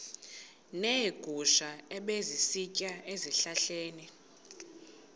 neegusha ebezisitya ezihlahleni